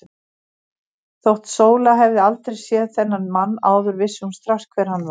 Þótt Sóla hefði aldrei séð þennan mann áður vissi hún strax hver hann var.